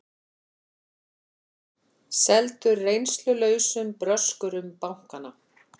Seldu reynslulausum bröskurum bankana